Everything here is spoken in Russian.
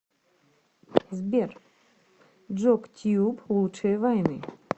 сбер джок тьюб лучшие вайны